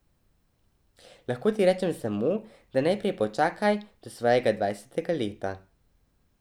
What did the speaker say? Lahko ti rečem samo, da najprej počakaj do svojega dvajsetega leta.